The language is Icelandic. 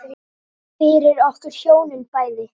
Fyrir okkur hjónin bæði.